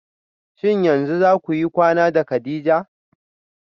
Shin yanzu zakuyi kwana da kadija?